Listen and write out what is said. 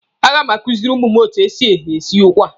A ga m akuziri ụmụ etu e si esi ụkwa.